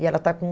E ela está com